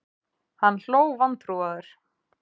Hann hló vantrúaður.